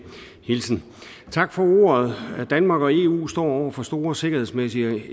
hilsen tak for ordet danmark og eu står over for store sikkerhedsmæssige og